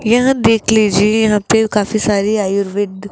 यहां देख लीजिए यहां पे काफी सारे आयुर्वेद --